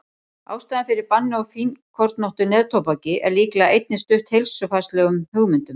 ástæðan fyrir banni á fínkornóttu neftóbaki er líklega einnig stutt heilsufarslegum hugmyndum